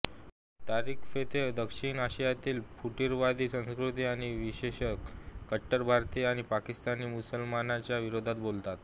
तारिक फतेह दक्षिण आशियातील फुटीरतावादी संस्कृती आणि विशेषतः कट्टर भारतीय आणि पाकिस्तानी मुस्लिमांच्या विरोधात बोलतात